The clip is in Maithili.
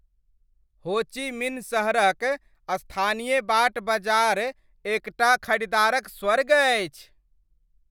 हो ची मिन्ह सहरक स्थानीय बाट बजार एकटा खरीदारक स्वर्ग अछि।